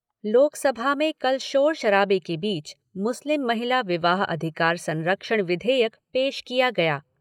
लोकसभा में कल शोर शराबे के बीच मुस्लिम महिला विवाह अधिकार संरक्षण विधेयक पेश किया गया।